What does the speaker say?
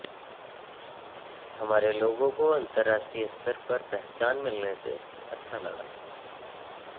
हमारे लोगों को अंतराष्ट्रीय स्तर पर पहचान मिलने से अच्छा लगा